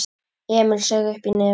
Emil saug uppí nefið.